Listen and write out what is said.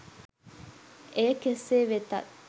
එය කෙසේ වෙතත්